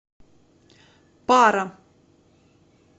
пара